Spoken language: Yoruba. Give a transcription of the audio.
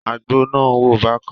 Àgbò náà ń wò bákan.